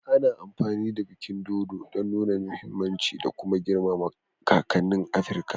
Ana amfani da bikin dodo don nuna muhimmin canji da kuma girmama kakanni a Afirka